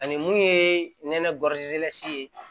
Ani mun ye nɛnɛ ye